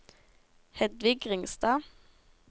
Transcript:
Hedvig Ringstad